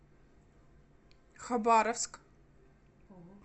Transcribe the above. хабаровск